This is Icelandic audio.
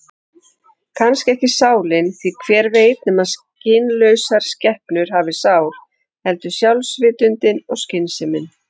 Kannski ekki sálin, því hver veit nema skynlausar skepnur hafi sál, heldur sjálfsvitundin og skynsemin.